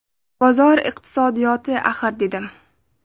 Bozor iqtisodiyoti axir”, dedim.